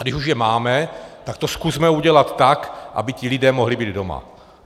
A když už je máme, tak to zkusme udělat tak, aby ti lidé mohli být doma.